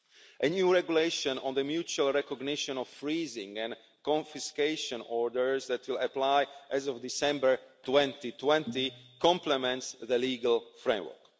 A new regulation on the mutual recognition of freezing and confiscation orders that will apply as of December 2020 complements the legal framework.